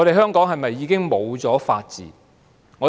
香港是否已經失去了法治？